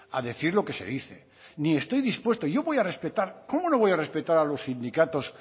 a decir lo que se dice ni estoy dispuesto y yo voy a respetar cómo no voy a respetar a los sindicatos